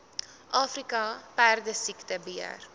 afrika perdesiekte beheer